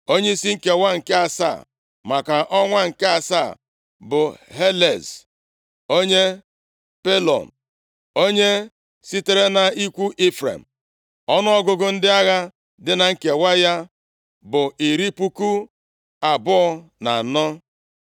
Onyeisi nkewa nke asaa, maka ọnwa nke asaa bụ Helez onye Pelon. Onye sitere nʼikwu Ifrem. Ọnụọgụgụ ndị agha dị na nkewa ya bụ iri puku abụọ na anọ (24,000).